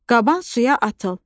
"Qaban suya atıl!